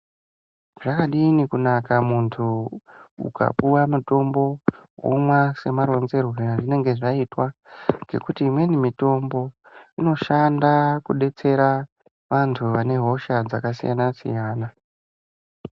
Zvakadini kunaka muntu ukapuwa mutombo womwa se maronzerwe azvinenge zvaitwa ngekuti imweni mitombo inoshanda ku detsera antu ane hosha dzaka siyana siyana.